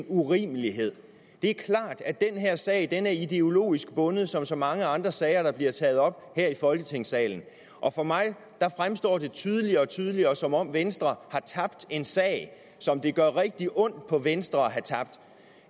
urimeligt det er klart at den her sag er ideologisk bundet som så mange andre sager der bliver taget op her i folketingssalen og for mig fremstår det tydeligere og tydeligere som om venstre har tabt en sag som det gør rigtig ondt på venstre at have tabt